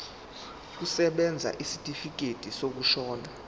kusebenza isitifikedi sokushona